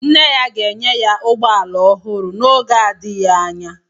Nne ya ga-enye ya ụgbọ ala ọhụrụ n'oge adịghị anya.